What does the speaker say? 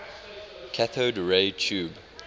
cathode ray tube